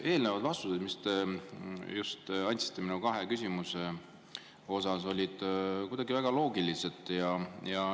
Eelnevad vastused, mis te andsite minu kahele küsimusele, olid väga loogilised.